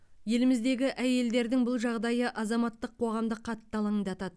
еліміздегі әйелдердің бұл жағдайы азаматтық қоғамды қатты алаңдатады